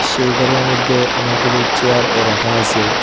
সেই ঘরের মইধ্যে অনেকগুলো চেয়ারও রাখা আসে।